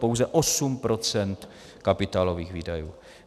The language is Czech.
Pouze 8 % kapitálových výdajů.